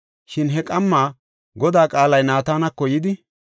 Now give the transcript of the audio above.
Shin he qamma Godaa qaalay Naatanako yidi,